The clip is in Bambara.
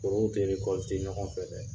Oru te erekɔlite ɲɔgɔn fɛ dɛ